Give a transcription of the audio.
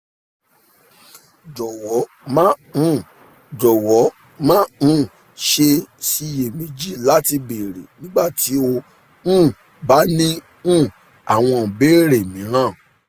jọwọ má um jọwọ má um ṣe ṣiyèméjì láti béèrè nígbà tí o um bá ní um àwọn ìbéèrè mìíràn